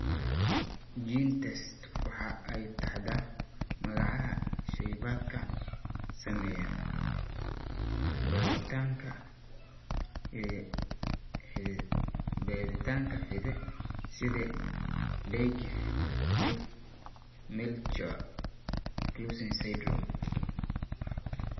GeneTests waxa ay taxdaa magaca shaybaadhka sameeya baadhitaanka hidde-sidaha ee Dyggve Melchior Clausen syndrome.